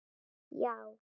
Já!